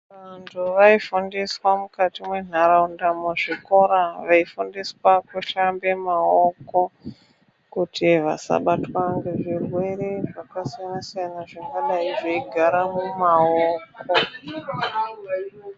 Vantu vaifundiswa mukati mwenharaunda muzvikora veifundiswa kushambe maoko kuti vasabatwa ngezvirwere zvakasiyana siyana zvingadai zveigare mumaoko.